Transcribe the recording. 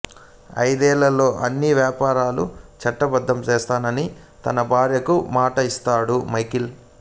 ఐదేళ్ళలో అన్ని వ్యాపారాలు చట్టబద్దం చేస్తానని తన భార్యకు మాట ఇస్తాడు మైఖేల్